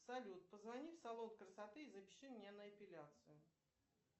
салют позвони в салон красоты и запиши меня на эпиляцию